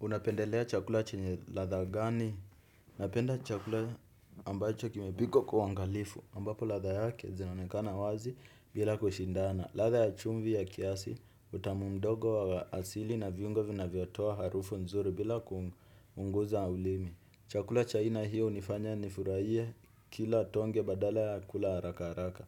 Unapendelea chakula chenye ladha gani? Napenda chakula ambacho kimepikwa kwa uangalifu, ambapo ladha yake zinonekana wazi bila kushindana. Ladha ya chumvi ya kiasi, utamu mdogo wa asili na viungo vinavyo toa harufu nzuri bila ku unguza ulimi. Chakula cha aina hiyo hunifanya nifurahie kila tonge badala ya kula haraka haraka.